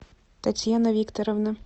татьяна викторовна